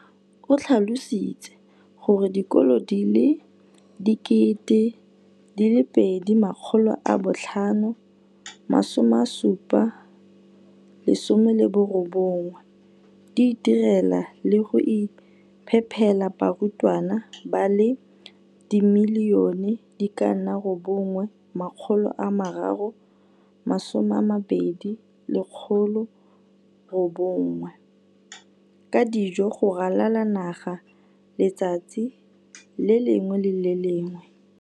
o tlhalositse gore dikolo di le 20 619 di itirela le go iphepela barutwana ba le 9 032 622 ka dijo go ralala naga letsatsi le lengwe le le lengwe.